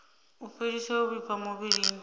u fhelisa u vhifha muvhilini